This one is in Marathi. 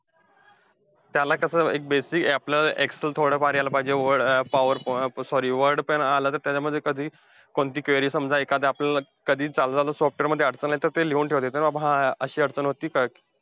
त्याला कसं एक basic आपल्याला excel थोडंफार यायला पाहिजे. Word अं power sorry word पण आलं तरी त्याच्यामध्ये कधी कोणती query समजा, एखादी आपल्याला कधी चालता चालता software मध्ये अडचण आली, तर ती लिहून ठेवता येते, कि बाबा हा हा अशी अडचण होती. काय,